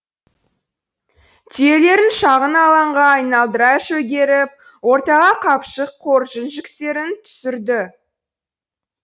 түйелерін шағын алаңға айналдыра шөгеріп ортаға қапшық қоржын жүктерін түсірді